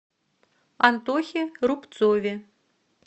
антохе рубцове